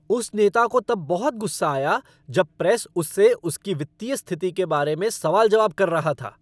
उस नेता को तब बहुत गुस्सा आया जब प्रेस उससे उसकी वित्तीय स्थिति के बारे में सवाल जवाब कर रहा था।